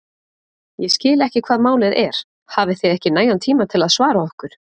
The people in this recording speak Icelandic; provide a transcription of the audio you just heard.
Ég skil ekki hvað málið er, hafið þið ekki nægan tíma til að svara okkur?!